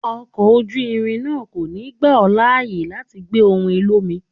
Ọkọ̀ ojú irin náà kò ní gbà ó láyè láti gbé ohùn olómi.